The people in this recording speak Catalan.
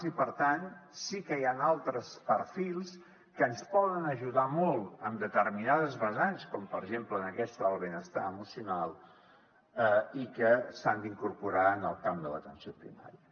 i per tant sí que hi han altres perfils que ens poden ajudar molt en determinades vessants com per exemple en aquesta del benestar emocional i que s’han d’incorporar en el camp de l’atenció primària